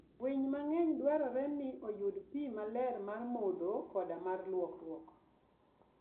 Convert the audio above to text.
Winy mang'eny dwarore ni oyud pi maler mar modho koda mar lwokruok.